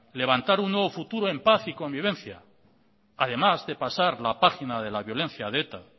levantar un nuevo futuro en paz y convivencia además de pasar la página de la violencia de eta